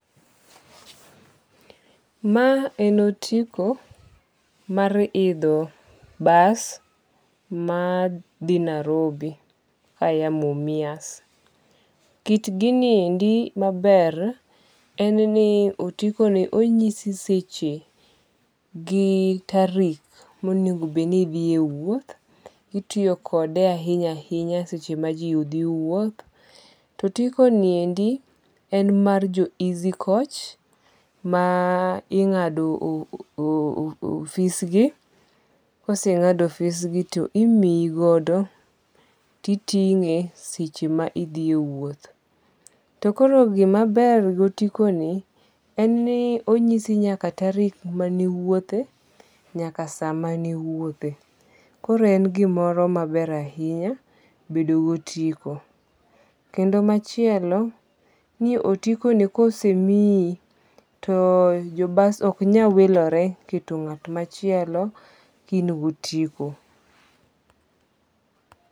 Ma en otiko mar idho bas ma dhi Narobi ka ya Mumias. Kit gini endi maber en ni otiko ni onyisi seche gi tarik monego bed ni idhiye wuoth. Itiyo kode ahinya ahinya seche ma ji dhi wuoth. To otiko ni endi en mar jo Easy Coach ma ing'ado e ofis gi. Kose ng'ad e ofis gi timiyigodo titing'e seche ma idhie wuoth. To koro gima ber gotiko en ni onyisi nyaka tarik mane iwuothe nyaka sa mane iwuoth. Koro en gimoro maber ahinya bedo gi otiko. Kendo machielo ni otiko ni kosemiyi to jo bas ok nyawilore keto ng'at machielo ka in gotiko.